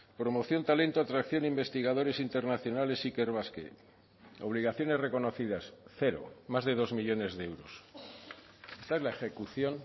promoción talento atracción investigadores internacionales ikerbasque obligaciones reconocidas cero más de dos millónes de euros esta es la ejecución